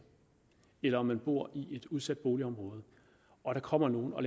eller om man bor i et udsat boligområde og der kommer nogle og